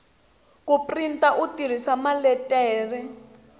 ku printa u tirhisa maletere